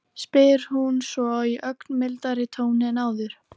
Ástin er einhver þýðingarmesti þáttur lífsins.